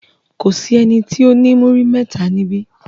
Kò sí ẹni tó ní múrí mẹ́ta níbí.